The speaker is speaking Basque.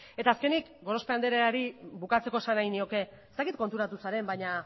eta azkenik gorospe andreari bukatzeko esan nahi nioke ez dakit konturatu zaren baina